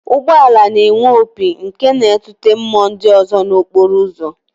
Ụgbọala na-enwe opi nke na-atụte mmụọ ndị ọzọ nọ n'okporo ụzọ